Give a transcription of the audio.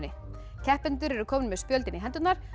keppendur eru komnir með spjöldin í hendurnar